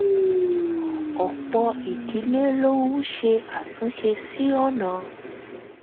ọ̀pọ̀ ìdílé ló ń ṣe àtúnṣe sí ọ̀nà